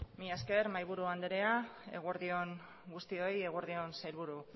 mila esker mahaiburu anderea eguerdi on guztioi eguerdi on sailburu